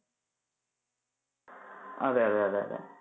അതെ അതെ അതെ